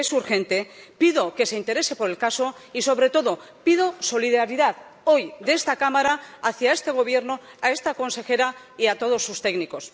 Porque es urgente, pido que se interese por el caso y, sobre todo, pido solidaridad hoy de esta Cámara hacia este Gobierno, esta consejera y todos sus técnicos.